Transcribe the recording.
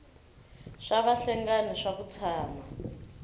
swa vahlengani swa ku tshama